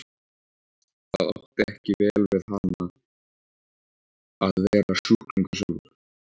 Það átti ekki vel við hana að vera sjúklingur sjálf.